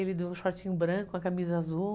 Ele do shortinho branco, com a camisa azul.